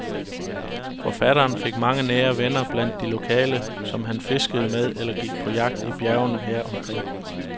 Forfatteren fik mange nære venner blandt de lokale, som han fiskede med eller gik med på jagt i bjergene her omkring.